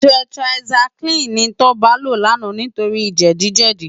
Tètirásáikilini ni Toba ló làná nitóri jèdi jèdi